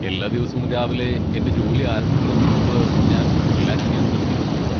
എല്ലാ ദിവസവും രാവിലെ എന്റെ ജോലി ആരംഭിക്കുന്നതിന് മുമ്പ് ഞാൻ റിലാക്സ് ചെയ്യാൻ ശ്രമിക്കുന്നു.